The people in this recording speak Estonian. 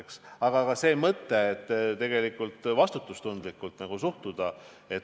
Aga õige on ka see mõte, et tegelikult tuleb vastutustundlikult suhtuda.